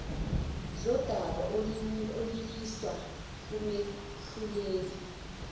zodaba oluyiswa kumehluleli